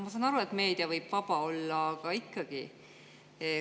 Ma saan aru, et meedia võib vaba olla, aga ikkagi.